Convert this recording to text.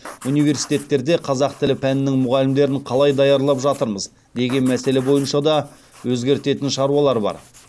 университеттерде қазақ тілі пәнінің мұғалімдерін қалай даярлап жатырмыз деген мәселе бойынша да өзгертетін шаруалар бар